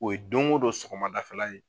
O ye don o don sɔgɔma dafɛ la ye.